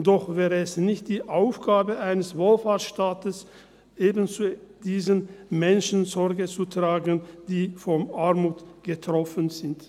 Doch wäre es nicht die Aufgabe eines Wohlfahrtsstaates, zu eben diesen Menschen Sorge zu tragen, die von Armut betroffen sind?